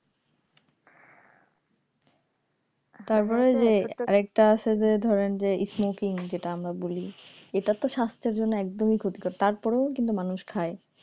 তারপরে যে আর একটা আছে যে ধরেন যে smoking যেটা আমরা বলি এটার তো স্বাস্থ্যের জন্য একদমই ক্ষতিকর তারপরেও কিন্তু মানুষ খায়